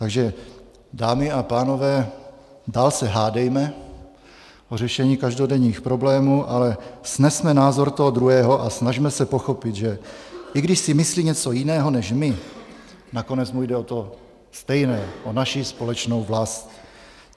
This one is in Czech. Takže dámy a pánové, dál se hádejme o řešení každodenních problémů, ale snesme názor toho druhého a snažme se pochopit, že i když si myslí něco jiného než my, nakonec mu jde o to stejné - o naši společnou vlast.